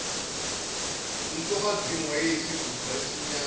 umfokazimu wayeyisiguqa esimnyama